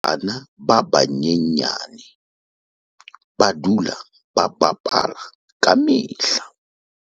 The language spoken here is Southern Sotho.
Bana ba banyenyane ba dula ba bapala ka mehla.